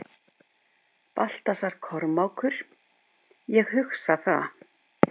Baltasar Kormákur: Ég hugsa það.